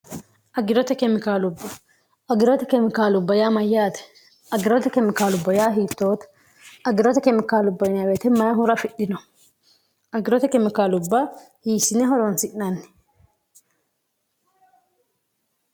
agirote kemikaalubba agirote kemikaalubba yaa mayyaate aggirote kemikaalubba yaa hiittoote aggirote kemikaalubb wete may hura afidhino aggirote kemikaalubbaa hiisine horoonsi'nanni